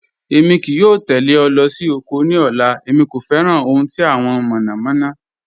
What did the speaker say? Èmi kìí yọ̀ tẹlẹ̀ ọ̀ lọ́ sí oko ní ọ̀là, èmi kò fẹ́ran ohun tí awọn mọ̀nọ̀mọ̀nọ̀.